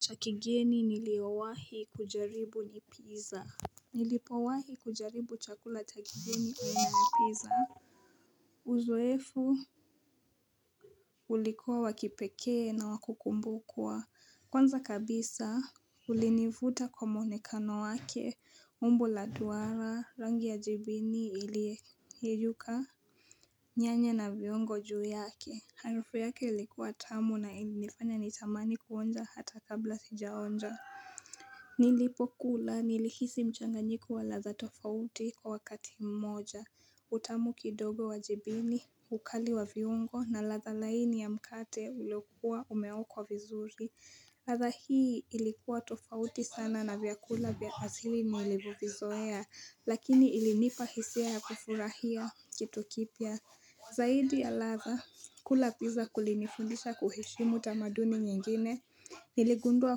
Chakigeni nilio wahi kujaribu ni pizza Nilipo wahi kujaribu chakula chakigeni aina ya pizza Uzoefu ulikuwa wakipekee na wakukumbukwa Kwanza kabisa ulinivuta kwa muonekano wake umbo la duara rangi ya jibini ilie yeyuka nyanya na viungo juu yake Harufu yake likuwa tamu na ilinifanya nitamani kuonja hata kabla sijaonja Nilipo kula nilihisi mchanganyiko wa ladha tofauti kwa wakati mmoja utamu kidogo wajibini, ukali wa viungo na ladha laini ya mkate ulokuwa umeokwa vizuri ladha hii ilikuwa tofauti sana na vyakula vyaasili niilivo vizoea Lakini ilinipahisia ya kufurahia kitukipya Zaidi ya ladha, kula pizza kulinifundisha kuheshimu tamaduni nyingine Niligundua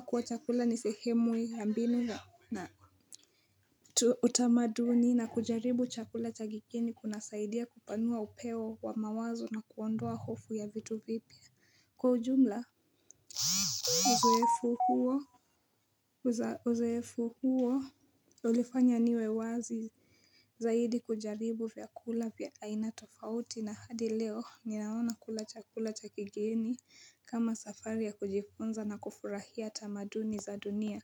kuwa chakula nisehemui yambinu na utamaduni na kujaribu chakula chakigeni kuna saidia kupanua upeo wa mawazo na kuondoa hofu ya vitu vipya. Kwa ujumla, uzoefu huo ulifanya niwe wazi zaidi kujaribu vyakula vya aina tofauti na hadi leo ninaona kula chakula chakigeni kama safari ya kujifunza na kufurahia tamaduni za dunia.